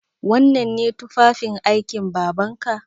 Wannan ne tufafin aikin Babanka?